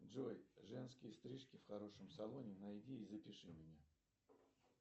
джой женские стрижки в хорошем салоне найди и запиши меня